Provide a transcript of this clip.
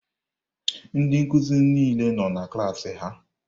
Ndị nkuzi niile nọ na klaasị ha.